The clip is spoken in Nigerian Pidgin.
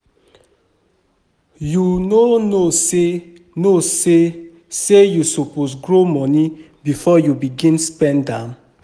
You no know sey no know sey you suppose grow moni before you begin spend am.